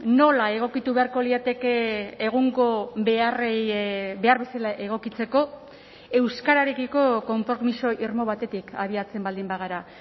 nola egokitu beharko lirateke egungo beharrei behar bezala egokitzeko euskararekiko konpromiso irmo batetik abiatzen baldin bagara